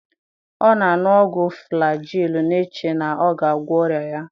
Ọ nọ na-aṅụ ọgwụ Flajilụ na-eche na ọ ga-agwọ ọrịa ya